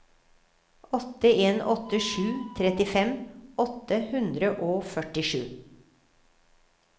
åtte en åtte sju trettifem åtte hundre og førtisju